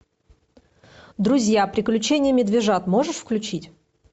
друзья приключения медвежат можешь включить